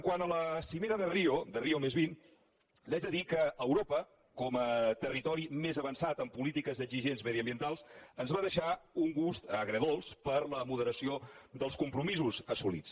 quant a la cimera de rio+vint li haig de dir que a europa com a territori més avançat en polítiques exigents mediambientals ens va deixar un gust agredolç per la moderació dels compromisos assolits